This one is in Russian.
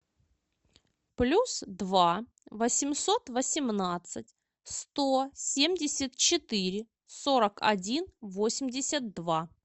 плюс два восемьсот восемнадцать сто семьдесят четыре сорок один восемьдесят два